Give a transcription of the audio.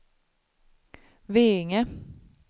Veinge